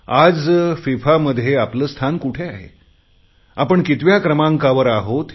आज फिफा मध्ये आपले स्थान कुठे आहे आपण कितव्या क्रमांकावर आहोत